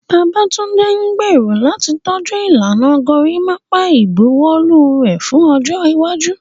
Babatunde gbèrò láti tọ́jú ìlànà gorimapa ìbuwọ́lù rẹ̀ fún ọjọ́ iwájú.